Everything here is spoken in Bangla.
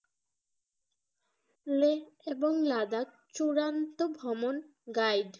লে এবং লাদাখ চূড়ান্ত ভ্রমণ guide